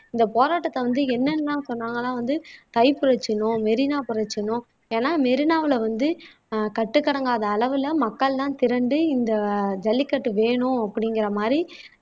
இந்த போராட்டத்த வந்து தான் சொன்னாங்கன்னா வந்து புரட்சின்னும் மெரினா புரட்சின்னும் ஏன்னா மெரினாவுல வந்து ஆஹ் கட்டுக்கடங்காத அளவுல மக்கள்லாம் திரண்டு இந்த ஜல்லிக்கட்டு வேணும் அப்டிங்கிற மாதிரி